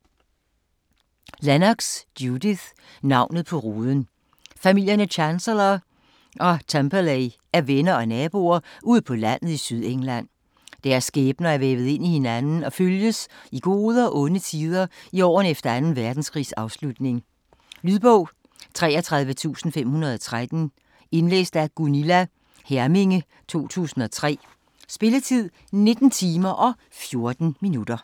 Lennox, Judith: Navnet på ruden Familierne Chancellor og Temperley er venner og naboer ude på landet i Sydengland. Deres skæbner er vævet ind i hinanden og følges i gode og onde tider i årene efter 2. verdenskrigs afslutning. Lydbog 33513 Indlæst af Gunilla Herminge, 2003. Spilletid: 19 timer, 14 minutter.